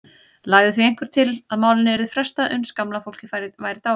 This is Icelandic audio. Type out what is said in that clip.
Lagði því einhver til að málinu yrði frestað uns gamla fólkið væri dáið.